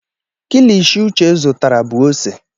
Kilishi uche zụtara bụ ose.